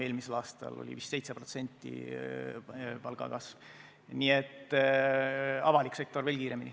Eelmisel aastal oli vist 7% palgakasv, avalikus sektoris veel kiirem.